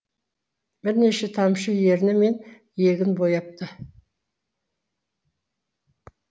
бірнеше тамшы ерні мен иегін бояпты